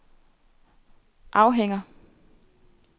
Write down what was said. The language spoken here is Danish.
afhænger